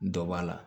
Dɔ b'a la